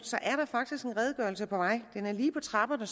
er der faktisk en redegørelse på vej den er lige på trapperne